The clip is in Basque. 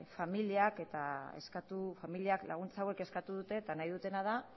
familiak laguntza hauek eskatu dute eta nahi dutena da